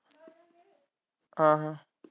ਹਾਂ ਹਾਂ।